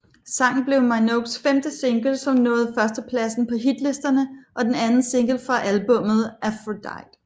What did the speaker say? Sangen blev Minogues femte single som nåede førsteplasden på hitlistene og den anden single fra albummet Aphrodite